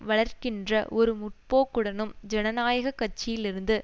வளர்க்கின்ற ஒரு முன்னோக்குடனும் ஜனநாயக கட்சியிலுருந்து